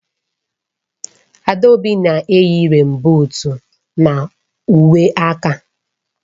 Adaobi na-eyi rèèn buut na uwe aka